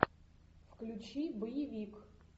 включи боевик